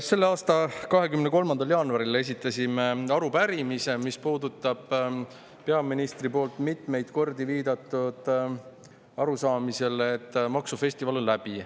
Selle aasta 23. jaanuaril esitasime arupärimise, mis puudutab peaministri poolt mitmeid kordi viidatud arusaamist, et maksufestival on läbi.